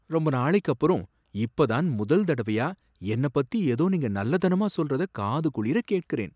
ரொம்ப நாளைக்கப்புறம் இப்ப தான் முதல் தடவையா என்னை பத்தி ஏதோ நீங்க நல்லதனமா சொல்றத காதுகுளிர கேட்கிறேன்.